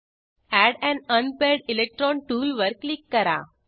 add un unpaired electron टूलवर click करा